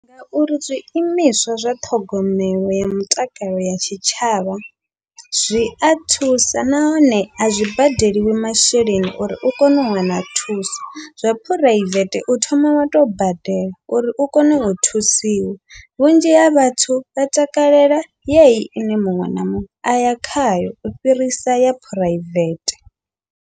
Ngauri zwiimiswa zwa ṱhogomelo ya mutakalo ya tshitshavha, zwia thusa nahone azwi badeliwi masheleni uri u kone u wana thuso, zwa phuraivethe u thoma wa tou badela uri u kone u thusiwa. Vhunzhi ha vhathu vha takalela yeyi ine muṅwe na muṅwe aya khayo u fhirisa ya phuraivete.